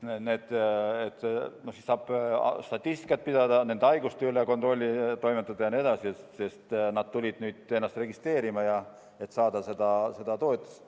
Nüüd saab statistikat pidada, nende haiguste üle kontrolli toimetada ja nii edasi, sest nüüd omanikud tulid registreerima, et seda toetust saada.